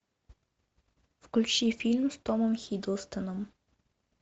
включи фильм с томом хиддлстоном